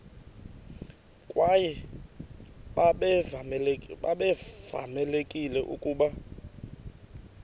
kwaye babevamelekile ukuba